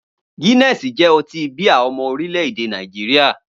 Guinness jẹ́ ọtí bíà ọmọ orílẹ̀-èdè Nàìjíríà